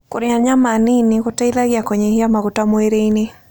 Kũrĩa nyama nĩnĩ gũteĩthagĩa kũnyĩhĩa magũta mwĩrĩĩnĩ